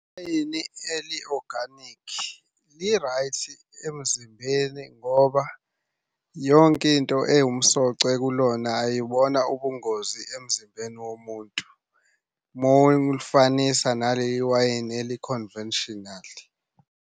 Iwayini eli-organic li-right emzimbeni ngoba yonke into ewumsoco kulona ayibona ubungozi emzimbeni womuntu. Uma ulifanisa naleli wayini eli-conventional.